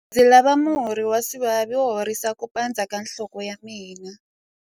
Ndzi lava murhi wa swivavi wo horisa ku pandza ka nhloko ya mina.